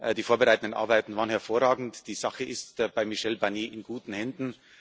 Die vorbereitenden Arbeiten waren hervorragend, die Sache ist bei Michael Barnier in guten Händen.